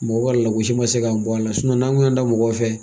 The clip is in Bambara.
Mɔgɔ ka lagosi ma se ka bɔ a la n'an kun y'an da mɔgɔ fɛ